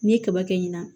N'i ye kaba kɛ ɲina